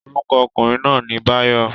Orúkọ okùnrin náà ni Báyọ̀